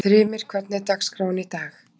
Þrymir, hvernig er dagskráin í dag?